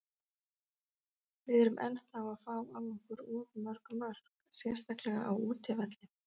Við erum ennþá að fá á okkur of mörg mörk, sérstaklega á útivelli.